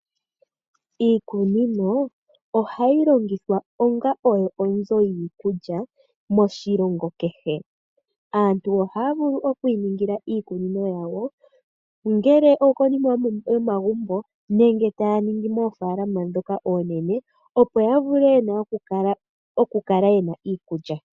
Iikunino ohayi longithwa onga oyo onzo yiikulya moshilongo kehe. Aantu ohaa vulu okwi iningila iikunino yawo ongele okonima yomagumbo nenge taa ningi moofaalama ndhoka oonene opo ya vule oku kala yena iikulya.